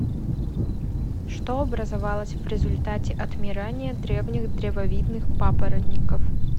что образовалось в результате отмирания древних древовидных папоротников